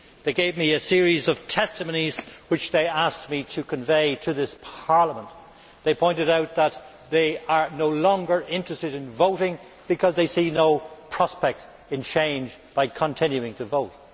They gave me a series of testimonies which they asked me to convey to this Parliament. They pointed out that they are no longer interested in voting because they see no prospect in change by continuing to vote.